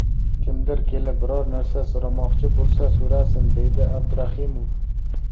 Kimdir kelib, biror narsa so‘ramoqchi bo‘lsa, so‘rasin”, deydi Abdraximov.